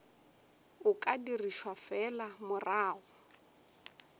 o ka dirišwa fela morago